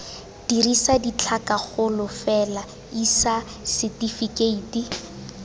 dirisa ditlhakakgolo fela isa setefikeiti